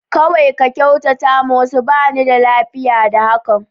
Kawai ka kyautata ma wasu, ba ni da lafiya da hakan.